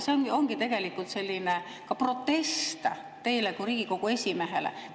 See ongi tegelikult selline protest teile kui Riigikogu esimehele.